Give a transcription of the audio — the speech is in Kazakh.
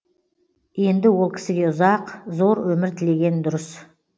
енді ол кісіге ұзақ зор өмір тілеген дұрыс